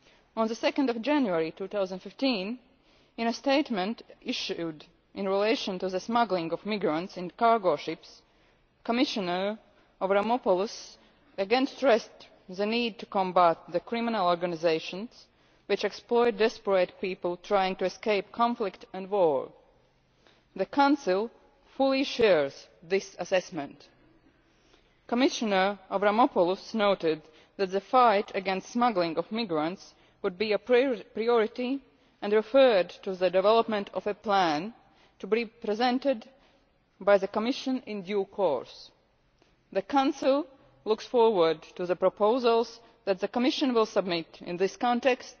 On 2 January 2015, in a statement issued in relation to the smuggling of migrants in cargo ships, Commissioner Avramopoulos again stressed the need to combat the criminal organisations which exploit desperate people trying to escape conflict and war. The Council fully shares this assessment. Commissioner Avramopoulos noted that the fight against the smuggling of migrants would be a priority and referred to the development of a plan to be presented by the Commission in due course. The Council looks forward to the proposals that the Commission will submit in